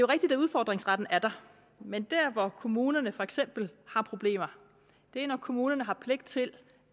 rigtigt at udfordringsretten er der men der hvor kommunerne for eksempel har problemer er når kommunerne har pligt til